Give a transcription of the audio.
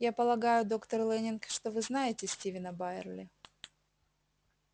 я полагаю доктор лэннинг что вы знаете стивена байерли